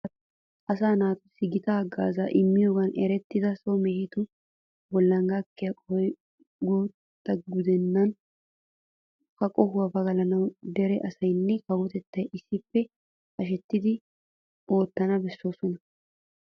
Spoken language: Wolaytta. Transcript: Asaa naaatussi gita haggaazaa immiyogan erettiya so mehetu bollan gakkiya qohoy guutta gudenna. Ha qohuwa pagalanawu dere asaynna kawotettay issippe hashetidi oottana bessoosona.